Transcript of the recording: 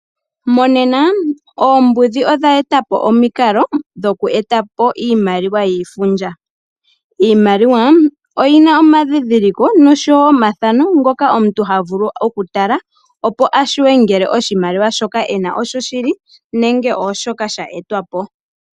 Monena oombudhi odha etapo omikalo dhoku eta po iimaliwa yiifundja. Iimaliwa oyina omadhidhiliko noshowo omathaano ngoka omuntu havulu okutala opo ashuwe ngele oshimaliwa shoka ena otyoshili nenge ooshoka sha etwa po.